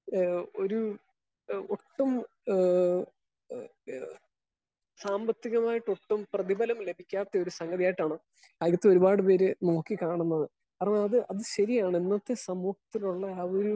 Speaker 1 ഏഹ് ഒരു ഒട്ടും ഏഹ് ഏഹ് ഏഹ് സാമ്പത്തികമായിട്ട് ഒട്ടും പ്രതിഫലം ലഭിക്കാത്ത ഒരു സംഗതിയായിട്ടാണ് അതിൽക്ക് ഒരുപാട് പേര് നോക്കി കാണുന്നത്. അതുകൊണ്ട് അത് ശെരിയാണ്. ഇന്നത്തെ സമൂഹത്തിലുള്ള ആളുകള്.